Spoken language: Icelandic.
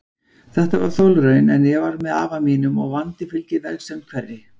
Þetta var þolraun, en ég var með afa mínum og vandi fylgir vegsemd hverri.